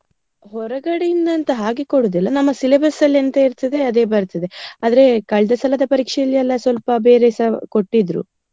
ಹೊರಗಡೆ ಇಂದ ಅಂತ ಹಾಗೆ ಕೊಡುದಿಲ್ಲ. ನಮ್ಮ syllabus ಅಲ್ಲಿ ಅಂತ ಇರ್ತದೆ ಅದೇ ಬರ್ತದೆ. ಆದ್ರೆ ಕಳ್ದ ಸಲಾ ಪರೀಕ್ಷೆಯಲ್ಲಿ ಎಲ್ಲಾ ಸ್ವಲ್ಪ ಬೇರೆಸ ಕೊಟ್ಟಿದ್ರು.